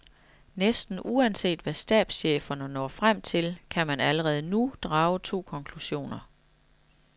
Næsten uanset hvad stabscheferne når frem til, kan man allerede nu drage to konklusioner.